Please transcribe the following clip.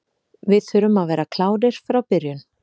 Við þurfum að vera klárir frá byrjun.